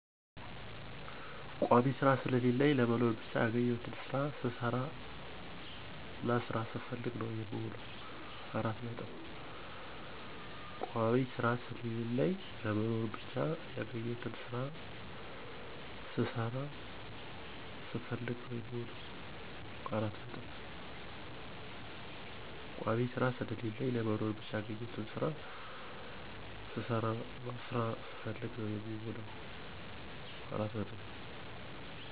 ቋሚ ስራ ስለለለኝ ለመኖር ብቻ ያገኘሁትን ስራ ስሰራና ስራ ስፈልግ ነው የምውለው።